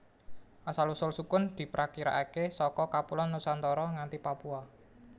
Asal usul sukun diprakirakaké saka kapuloan Nusantara nganti Papua